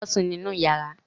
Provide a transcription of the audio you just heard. Lọ sùn nínú yàrá.